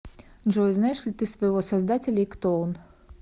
джой знаешь ли ты своего создателя и кто он